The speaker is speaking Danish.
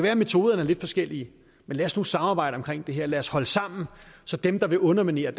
at metoderne er lidt forskellige men lad os nu samarbejde omkring det her lad os holde sammen så dem der vil underminere